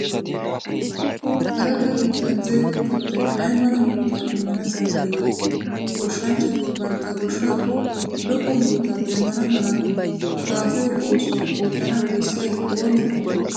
Aradda biittan zerido kattay ay mala murutaa immana danddayii? Goshshanchchati bantta goshshaappe lo"o murutaa demmana mala kaafiyo oosuwa oottana bessiyay oonee oonee?